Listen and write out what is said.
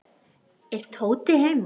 Er Tóti heima?